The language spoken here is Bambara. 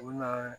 U bɛ na